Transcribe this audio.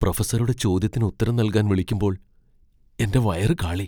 പ്രൊഫസറുടെ ചോദ്യത്തിന് ഉത്തരം നൽകാൻ വിളിക്കുമ്പോൾ എന്റെ വയറു കാളി .